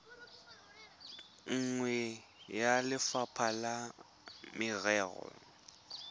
nngwe ya lefapha la merero